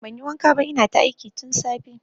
Banyi wanka ba ina ta aiki tun safe